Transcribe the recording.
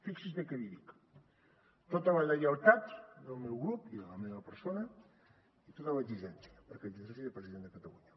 fixi’s bé què li dic tota la lleialtat del meu grup i de la meva persona i tota l’exigència perquè exerceixi de president de catalunya